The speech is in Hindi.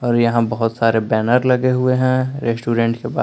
और यहां बहुत सारे बैनर लगे हुए हैं रेस्टोरेंट के बाहर--